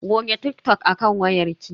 Goge TikTok a kan wayar ki.